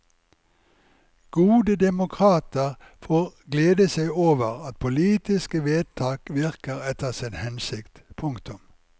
Gode demokrater får glede seg over at politiske vedtak virker etter sin hensikt. punktum